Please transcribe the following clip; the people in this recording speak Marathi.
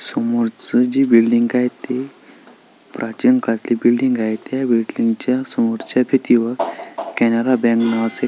समोर ची जी बिल्डिंग आहे ती प्राचीन काळातील बिल्डिंग आहे त्या बिल्डिंग च्या समोरच्या कॅनरा बँक नावाचं--